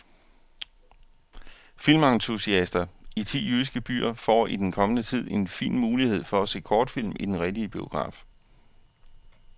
Filmentusiaster i ti jyske byer får i den kommende tid en fin mulighed for at se kortfilm i den rigtige biograf.